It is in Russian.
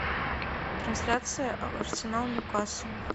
трансляция арсенал ньюкасл